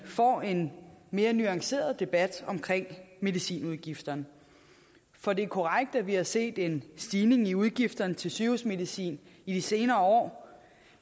få en mere nuanceret debat omkring medicinudgifterne for det er korrekt at vi har set en stigning i udgifterne til sygehusmedicin i de senere år